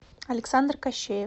александр кощеев